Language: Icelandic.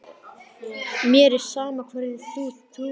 Mér er sama hverju þú trúir.